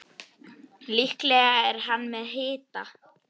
Líklega er hann með hita.